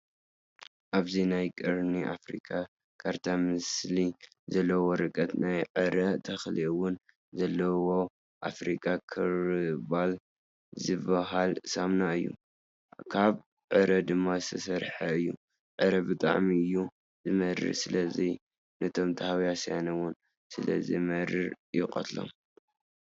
ኣብዚ ናይ ቀርኒ ኣፍርካ ካርታ ምስሊ ዘለዎ ወርቀት ናይ ዕረ ተክሊ እውን ዘለዎ ኣፍሪ ኸርባል ዝብሃል ሳምና እዩ። ካብ ዕረ ድማ ዝተሰርሐ እዩ። ዕረ ብጣዕሚ እዩ ዝመርር! ስለዚ ንቶም ታህዋስያን እውን ስለዝመርር ይቀትሎም።